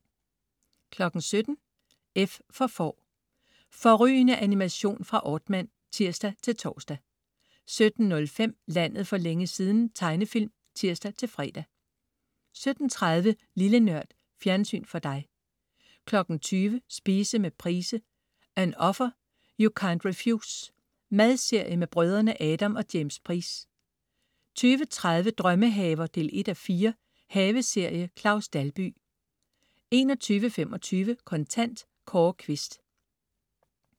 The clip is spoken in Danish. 17.00 F for Får. Fårrygende animation fra Aardman (tirs-tors) 17.05 Landet for længe siden. Tegnefilm (tirs-fre) 17.30 Lille Nørd. Fjernsyn for dig 20.00 Spise med Price. An offer, you can't refuse. madserie med brødrene Adam og James Price 20.30 Drømmehaver 1:4. Haveserie. Claus Dalby 21.25 Kontant. Kåre Quist